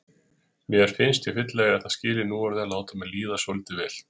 Mér finnst ég fyllilega eiga það skilið núorðið að láta mér líða svolítið vel.